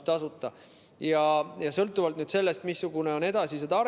Selle järel, sõltuvalt sellest, missugune on edasine